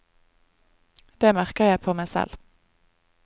Det merker jeg på meg selv.